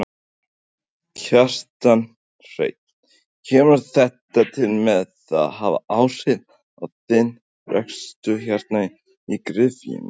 Kjartan Hreinn: Kemur þetta til með að hafa áhrif á þinn rekstur hérna í gryfjunni?